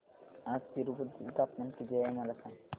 आज तिरूपती चे तापमान किती आहे मला सांगा